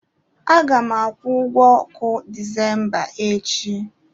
A ga m akwụ ụgwọ ọkụ Disemba echi.